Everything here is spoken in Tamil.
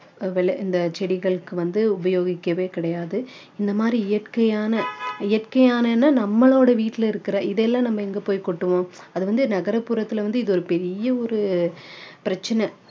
விளை இந்த செடிகளுக்கு வந்து உபயேகிக்கவே கிடையாது இந்த மாதிரி இயற்கையான இயற்கையான விட நம்மளோட வீட்டுல இருக்கிற இதை எல்லாம் நம்ம எங்க போய் கொட்டுவோம் அது வந்து நகரப்புறத்துல வந்து இது ஒரு பெரிய ஒரு பிரச்சனை